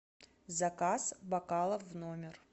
заказ бокалов в номер